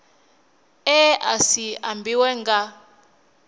e a si ambiwe nga